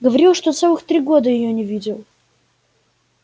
говорил что целых три года её не видел